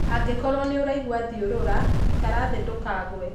Angĩkorwo nĩuragua thiũrũra, ikara th ndũkagũe.